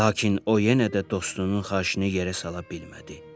Lakin o yenə də dostunun xahişini yerə sala bilmədi.